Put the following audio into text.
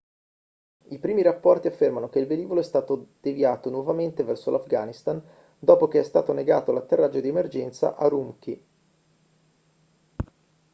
i primi rapporti affermano che il velivolo è stato deviato nuovamente verso l'afghanistan dopo che è stato negato l'atterraggio di emergenza a ürümqi